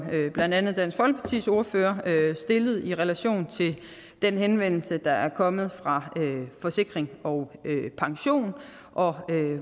blandt andet dansk folkepartis ordfører stillede i relation til den henvendelse der er kommet fra forsikring pension og